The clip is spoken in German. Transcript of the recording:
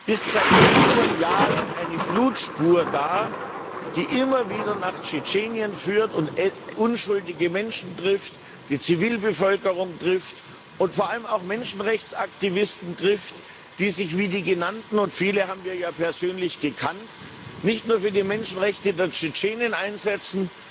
ist seit vielen Jahren eine Blutspur da, die immer wieder nach Tschetschenien führt und unschuldige Menschen trifft die Zivilbevölkerung und vor allem auch Menschenrechtsaktivisten, die sich wie die Genannten und viele haben wir ja persönlich gekannt nicht nur für die Menschenrechte der Tschetschenen einsetzen,